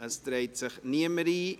– Es trägt sich niemand ein.